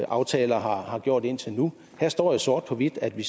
aftaler har gjort indtil nu her står jo sort på hvidt at vi